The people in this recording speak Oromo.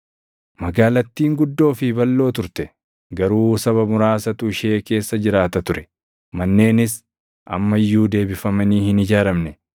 Magaalattiin guddoo fi balʼoo turte; garuu saba muraasatu ishee keessa jiraata ture. Manneenis amma iyyuu deebifamanii hin ijaaramne.